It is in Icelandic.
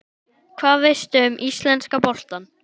Hvað veistu um íslenska boltann?